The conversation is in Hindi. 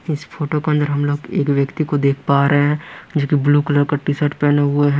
इस फोटो के अंदर हम लोग एक व्यक्ति को देख पा रहे हैं जो कि ब्लू कलर का टी शर्ट पहने हुआ है।